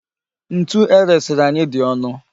Ntu eresiri anyị dị ọnụ.